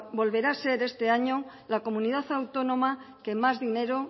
volverá a ser este año la comunidad autónoma que más dinero